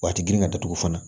Wa ti girin ka datugu fana